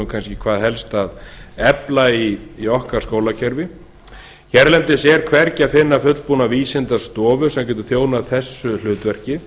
kannski hvað helst að efla í skólakerfi okkar hérlendis er hvergi að finna fullbúna vísindastofu sem getur þjónað þessu hlutverki